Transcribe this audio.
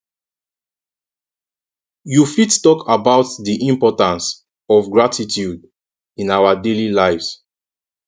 you fit talk about di importance of gratitude in our daily lives